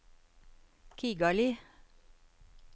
Kigali